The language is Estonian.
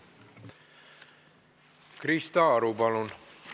Krista Aru, palun!